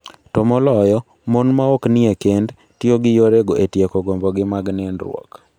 To moloyo, mon maok nie kend, tiyo gi yorego e tieko gombogi mag nindruok.